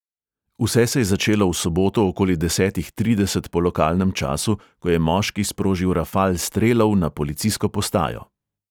Vse se je začelo v soboto okoli desetih trideset po lokalnem času, ko je moški sprožil rafal strelov na policijsko postajo.